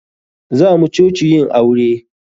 Zamu coci yin aure.